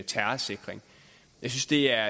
terrorsikring jeg synes det er